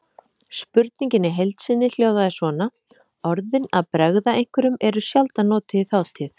Spurningin í heild sinni hljóðaði svona: Orðin að bregða einhverjum eru sjaldan notuð í þátíð.